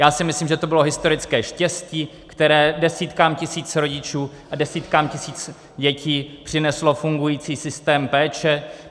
Já si myslím, že to byla historické štěstí, které desítkám tisíc rodičů a desítkám tisíc dětí přineslo fungující systém péče.